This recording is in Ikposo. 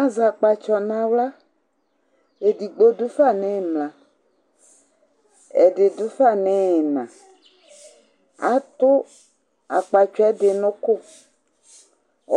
Azɛ akpatsɔ nawla Edigbo dufa nɩmla, ɛdi dufa niyina Atʊ akpatsɔ edi nukʊ